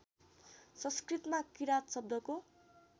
संस्कृतमा किराँत शब्दको